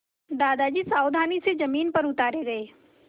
दादाजी सावधानी से ज़मीन पर उतारे गए